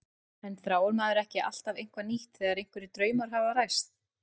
En þráir maður ekki alltaf eitthvað nýtt þegar einhverjir draumar hafa ræst?